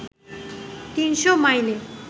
তিনশো মাইলের